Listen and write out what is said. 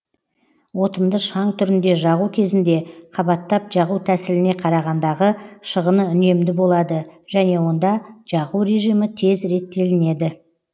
отынды шаң түрінде жағу кезінде қабаттап жағу тәсіліне қарағандағы шығыны үнемді болады және онда жағу режимі тез реттелінеді